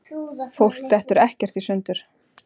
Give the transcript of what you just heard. Fólk dettur ekkert í sundur.